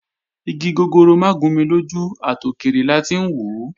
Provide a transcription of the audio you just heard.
Igi gogoro mà gún ni lójú, àtòkèrè la ti ń wòó